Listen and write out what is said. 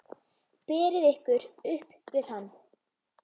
Berið ykkur upp við hann!